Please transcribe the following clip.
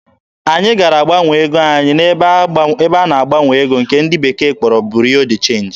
Anyị gara gbanwee ego anyị n'ebe a na-agbanwe ego nke ndị bekee kpọrọ "Bureau de change."